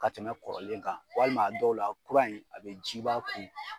Ka tɛmɛ kɔrɔlen kan walima a dɔw la kura in a bɛ ji ba kun.